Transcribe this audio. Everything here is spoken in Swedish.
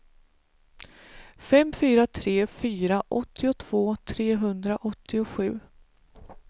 fem fyra tre fyra åttiotvå trehundraåttiosju